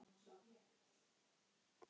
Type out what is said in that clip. Það yrði svindl.